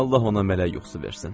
Allah ona mələk yuxusu versin.